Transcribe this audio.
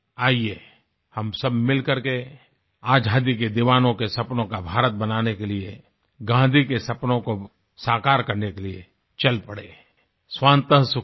आइये हम सब मिल करके आजादी के दीवानों के सपनों का भारत बनाने के लिए गांधी के सपनों को साकार करने के लिए चल पड़ें स्वान्त सुखाय